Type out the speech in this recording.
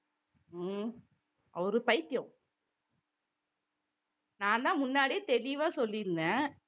உம் அவரு பைத்தியம் நான்தான் முன்னாடியே தெளிவா சொல்லியிருந்தேன்